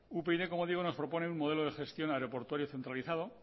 upyd como digo nos propone un modelo de gestión aeroportuario centralizado